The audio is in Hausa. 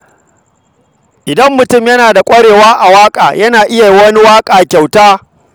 Idan mutum yana da ƙwarewa a waƙa, yana iya yi wa wani waƙa a matsayin kyauta.